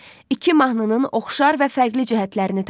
İki mahnının oxşar və fərqli cəhətlərini tapın.